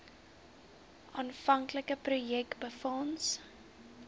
aanvanklike projek befonds